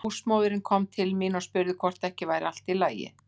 Húsmóðirin kom til mín og spurði hvort ekki væri allt í lagi.